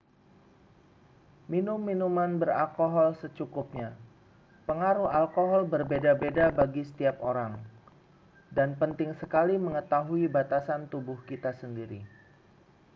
minum minuman beralkohol secukupnya pengaruh alkohol berbeda-beda bagi setiap orang dan penting sekali mengetahui batasan tubuh kita sendiri